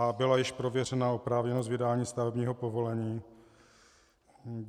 A byla již prověřena oprávněnost vydání stavebního povolení?